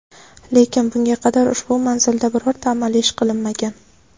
lekin bunga qadar ushbu manzilda birorta amaliy ish qilinmagan.